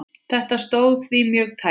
Þetta stóð því mjög tæpt.